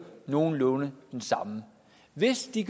nogenlunde den samme hvis det